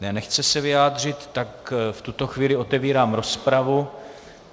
Ne, nechce se vyjádřit, tak v tuto chvíli otevírám rozpravu.